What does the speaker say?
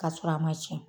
K'a sɔrɔ a ma tiɲɛ